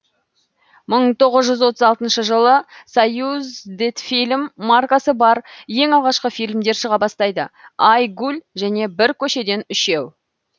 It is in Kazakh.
мың тоғыз жүз отыз алтыншы жылы союздетфильм маркасы бар ең алғашқы фильмдер шыға бастайды ай гуль және бір көшеден үшеу